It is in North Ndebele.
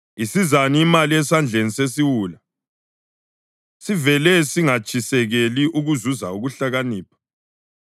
Isizani imali esandleni sesiwula, sivele singatshisekeli ukuzuza ukuhlakanipha?